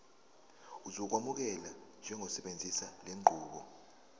uzokwamukelwa njengosebenzisa lenqubo